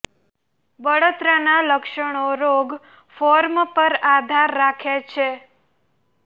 બળતરા ના લક્ષણો રોગ ફોર્મ પર આધાર રાખે છે